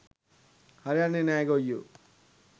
හරි යන්නෙ නෑ ගොයියො.